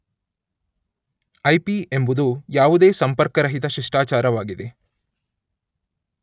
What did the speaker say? IP ಎಂಬುದು ಯಾವುದೇ ಸಂಪರ್ಕರಹಿತ ಶಿಷ್ಟಾಚಾರ ವಾಗಿದೆ